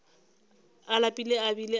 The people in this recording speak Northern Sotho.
a lapile a bile a